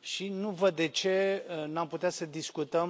și nu văd de ce nu am putea să discutăm